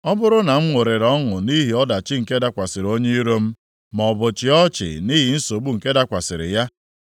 “Ọ bụrụ na m ṅụrịrị ọṅụ nʼihi ọdachi nke dakwasịrị onye iro m maọbụ chịa ọchị nʼihi nsogbu nke dakwasịrị ya,